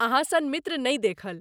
अहाँ सन मित्र नहि देखल!